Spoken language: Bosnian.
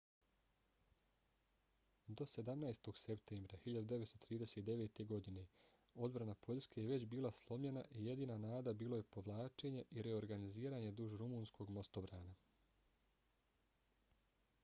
do 17. septembra 1939. godine odbrana poljske je već bila slomljena i jedina nada bilo je povlačenje i reorganiziranje duž rumunskog mostobrana